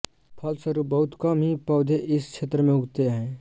फलस्वरूप बहुत कम ही पौधे इस क्षेत्र में उगते हैं